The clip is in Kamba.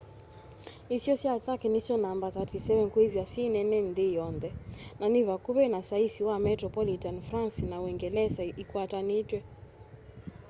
isio sya turkey nisyo namba 37 kwithwa syi nene nthi yonthe na ni vakuvi na saisi wa metropolitan france na uungelesa ikwatanitw'e